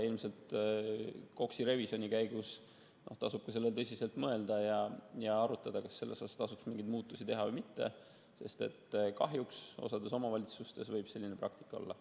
Ilmselt KOKS‑i revisjoni käigus tasub ka sellele tõsiselt mõelda ja arutada, kas seal tasuks mingeid muutusi teha või mitte, sest kahjuks osas omavalitsustes võib selline praktika olla.